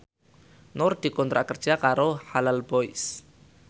Nur dikontrak kerja karo Halal Boys